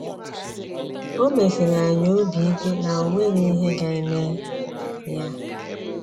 O mesiri anyị obi ike na o nweghị ihe ga - eme ya.